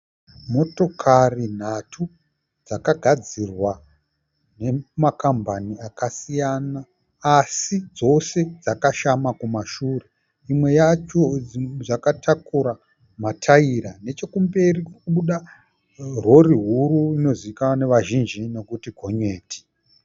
Motokari nhatu dzakagadzirwa nema kambani akasiyana asi dzose dzakashama kumashure. Imwe yacho yakatakura mataira. Neche kumberi kuri kubuda rori huru inozivikanwa nevazhinji nokuti gonyeti.